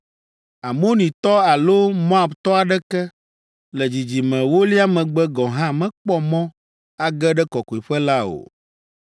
“Amonitɔ alo Moabtɔ aɖeke, le dzidzime ewolia megbe gɔ̃ hã mekpɔ mɔ age ɖe kɔkɔeƒe la o.